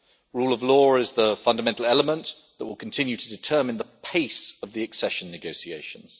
Rule of Law is the fundamental element that will continue to determine the pace of the accession negotiations.